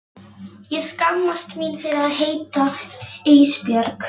Ég skammast mín fyrir að heita Ísbjörg.